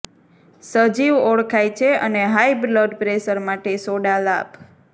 સજીવ ઓળખાય છે અને હાઈ બ્લડ પ્રેશર માટે સોડા લાભ